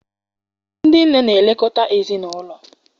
Ndị nne na-elekọta ezinaụlọ.